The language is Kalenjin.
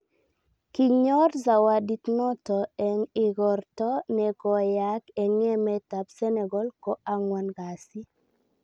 Kinyoor Zawadit noto eng' igorta ne koyaak eng' emet ab Senegal ko ang'wan kasi